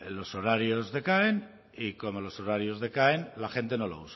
los horarios decaen y como los horarios decaen la gente no lo